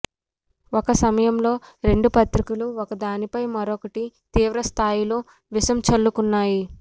ఒక సమయంలో రెండు పత్రికలూ ఒకదానిపై మరొకటి తీవ్రస్థాయిలో విషం చల్లుకున్నాయి